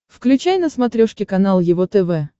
включай на смотрешке канал его тв